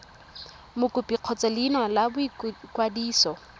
mokopi kgotsa leina la boikwadiso